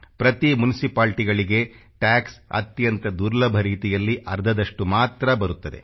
ಪ್ರತಿ ಮುನಿಸಿಪಾಲ್ಟಿಗಳಿಗೆ ಟ್ಯಾಕ್ಸ ಅತ್ಯಂತ ದುರ್ಲಭ ರೀತಿಯಲ್ಲಿ ಅರ್ಧದಷ್ಟು ಮಾತ್ರ ಬರುತ್ತದೆ